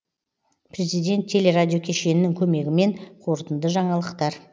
президент теле радио кешенінің көмегімен қорытынды жаңалықтар